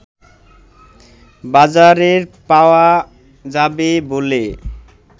বাজারের পাওয়া যাবে বলে